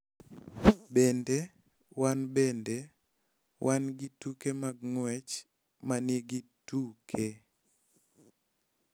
Bende, wan bende wan gi tuke mag ng�wech ma nigi tuke .